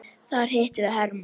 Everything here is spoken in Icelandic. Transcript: Þar hittum við hermann.